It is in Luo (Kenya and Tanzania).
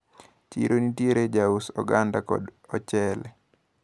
Chiro nitiere jous oganda kod ochele.